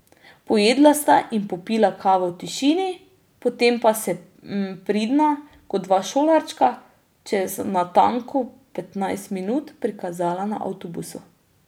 Pojedla sta in popila kavo v tišini, potem pa se pridna, kot dva šolarčka, čez natanko petnajst minut prikazala na avtobusu.